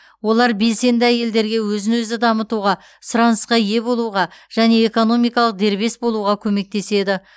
олар белсенді әйелдерге өзін өзі дамытуға сұранысқа ие болуға және экономикалық дербес болуға көмектеседі